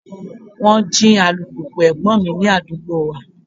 Wọ́n jí alùpùpù ẹ̀gbọ́n mi ní àdúgbò wa.